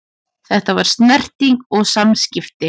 Þetta var snerting og samskipti.